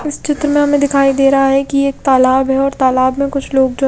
इस चित्र में हमें दिखाई दे रहा है कि एक तालाब है और तालाब में कुछ लोग जो--